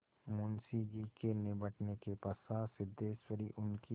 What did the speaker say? मुंशी जी के निबटने के पश्चात सिद्धेश्वरी उनकी